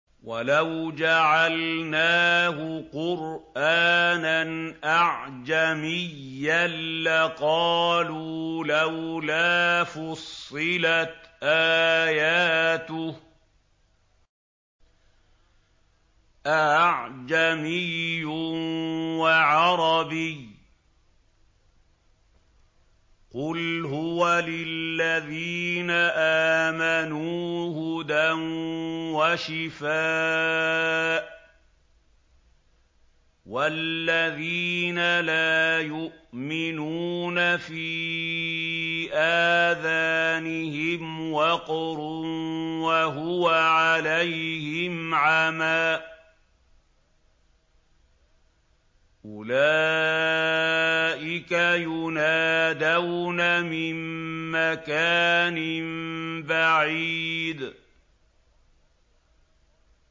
وَلَوْ جَعَلْنَاهُ قُرْآنًا أَعْجَمِيًّا لَّقَالُوا لَوْلَا فُصِّلَتْ آيَاتُهُ ۖ أَأَعْجَمِيٌّ وَعَرَبِيٌّ ۗ قُلْ هُوَ لِلَّذِينَ آمَنُوا هُدًى وَشِفَاءٌ ۖ وَالَّذِينَ لَا يُؤْمِنُونَ فِي آذَانِهِمْ وَقْرٌ وَهُوَ عَلَيْهِمْ عَمًى ۚ أُولَٰئِكَ يُنَادَوْنَ مِن مَّكَانٍ بَعِيدٍ